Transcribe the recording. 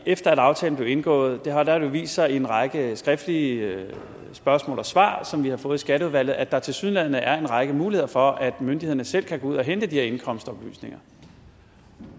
efter aftalen blev indgået har det jo vist sig i en række skriftlige spørgsmål og svar som vi har fået i skatteudvalget at der tilsyneladende er en række muligheder for at myndighederne selv kan gå ud og hente de her indkomstoplysninger